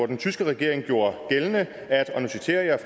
den tyske regering gjorde gældende og nu citerer jeg